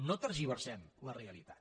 no tergiversem la realitat